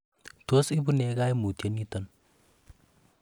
Tos ibu nee koimutioniton?